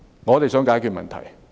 我們只想解決問題。